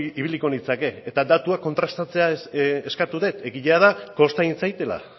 ibiliko nintzake eta datuak kontrastatzea eskatu dut egia da kosta egin zaidala